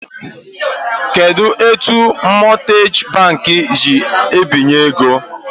Kedu etu mọtgeji bankị si ebinye ego?